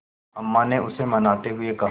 अम्मा ने उसे मनाते हुए कहा